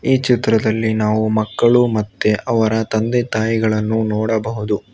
ಈ ಚಿತ್ರದಲ್ಲಿ ನಾವು ಮಕ್ಕಳು ಮತ್ತೆ ಅವರ ತಂದೆ ತಾಯಿಗಳನ್ನು ನೋಡಬಹುದು.